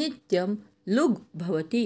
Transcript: नित्यं लुग् भवति